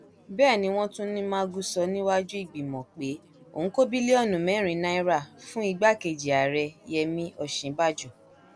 bẹẹ ni wọn tún ní magu sọ níwájú ìgbìmọ pé òun kó bílíọnù mẹrin náírà fún igbákejì ààrẹ yẹmi òsínbàjọ